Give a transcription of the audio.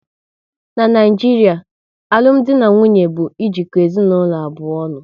N'Naijiria, alụmdi na nwunye bụ ejiko ezinaụlọ abụọ ọnụ